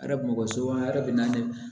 Arabu so a yɛrɛ bɛ na ne